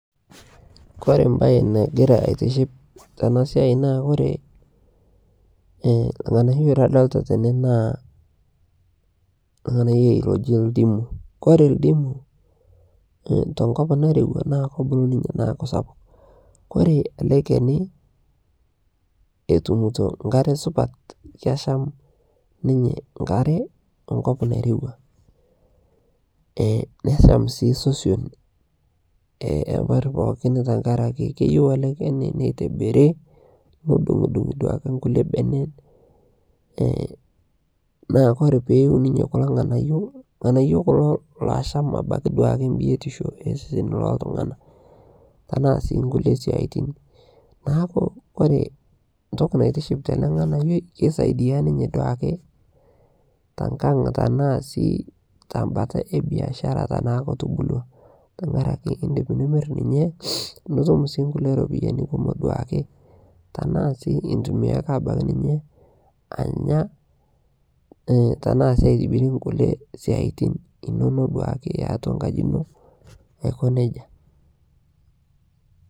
Kore baaye negiraa aitiship tena siai naa kore lng'anaiyo nadolita tene naa lng'anaiyo loojii ndiimu. Kore ndiimu to nkoop nairewua naa keebuluu ninye neaku sapuuk. Ore ele lkeeni otuumuto nkaare supaat keeshaam ninye nkaare otuum o nkoop neirewua. Ee neshaam sii soison epeer pooki amu keiyeu ele lchaani neitibiiri , neidung'idung'i duake nkulee beene ee na kore pee iuu ninye kuloo ilng'anaiyo. Ilng'anaiyo kuloo loashaam abaki duake biotisho e sesen loo ltung'ana. Tana sii nkulee siati naaku kore ntokii neitishiip tene lng'anaiyo keisadia ninye duake te nkaang' tana sii te mbaata e biasharaa tana kootubulua. Tang'araki idiip nimiir ninyee nituum sii nkulee ropiani kumook duake tana sii itumia sii abaki ninyee anyaa ee tana sii aitibirie nkule siatin enono duake teatu nkaaji eno neaku nejaa.